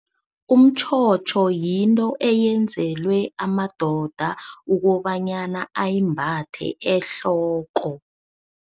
Umtjhotjho yinto eyenzelwe amadoda ukobanyana ayimbathe ehloko.